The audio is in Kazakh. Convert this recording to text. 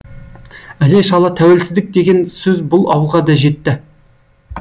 іле шала тәуелсіздік деген сөз бұл ауылға да жетті